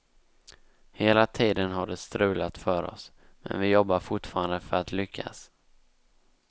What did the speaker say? Hela tiden har det strulat för oss, men vi jobbar fortfarande för att lyckas.